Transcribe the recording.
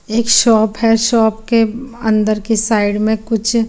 एक शॉप है शॉप के अन्दर की साइड में कुछ --